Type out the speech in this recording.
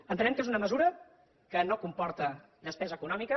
entenem que és una mesura que no comporta despesa econòmica